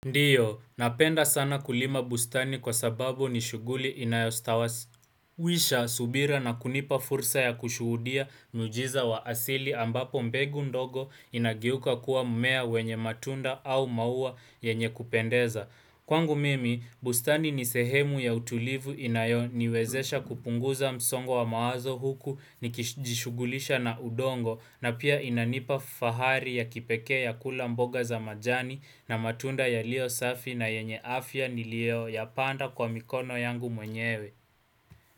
Ndio, napenda sana kulima bustani kwa sababu ni shughuli inayostawasi. Wisha subira na kunipa fursa ya kushuhudia miujiza wa asili ambapo mbegu ndogo inageuka kuwa mmea wenye matunda au maua yenye kupendeza. Kwangu mimi, bustani ni sehemu ya utulivu inayoniwezesha kupunguza msongo wa mawazo huku nikijishughulisha na udongo na pia inanipa fahari ya kipekee ya kula mboga za majani na matunda yaliyo safi na yenye afya niliyoyapanda kwa mikono yangu mwenyewe.